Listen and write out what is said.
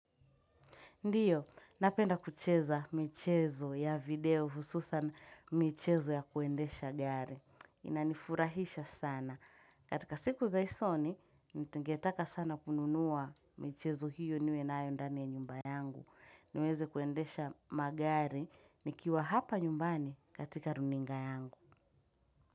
Ndiyo, napenda kucheza michezo ya video hususan michezo ya kuendesha gari. Inanifurahisha sana. Katika siku za usoni, ningetaka sana kununua michezo hiyo niwe na yondani ya nyumba yangu. Niweze kuendesha magari, nikiwa hapa nyumbani katika runinga yangu.